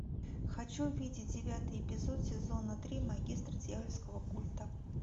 хочу увидеть девятый эпизод сезона три магистр дьявольского культа